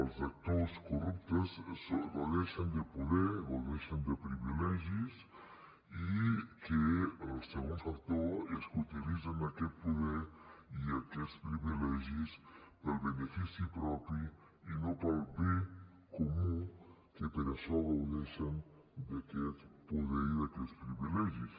els actors corruptes gaudeixen de poder gaudeixen de privilegis i el segon factor és que utilitzen aquest poder i aquests privilegis pel benefici propi i no pel bé comú que per això gaudeixen d’aquest poder i d’aquests privilegis